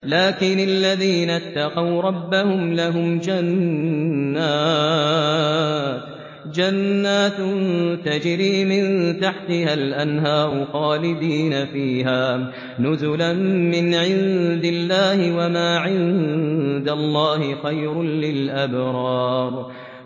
لَٰكِنِ الَّذِينَ اتَّقَوْا رَبَّهُمْ لَهُمْ جَنَّاتٌ تَجْرِي مِن تَحْتِهَا الْأَنْهَارُ خَالِدِينَ فِيهَا نُزُلًا مِّنْ عِندِ اللَّهِ ۗ وَمَا عِندَ اللَّهِ خَيْرٌ لِّلْأَبْرَارِ